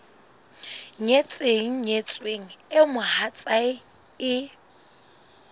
nyetseng nyetsweng eo mohatsae e